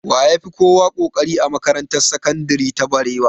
Wa ya fi kowa ƙoƙari a makarantar sakandire ta barewa?